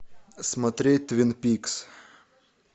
смотреть твин пикс